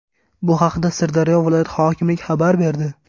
Bu haqda Sirdaryo viloyati hokimligi xabar berdi .